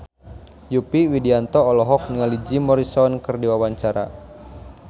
Yovie Widianto olohok ningali Jim Morrison keur diwawancara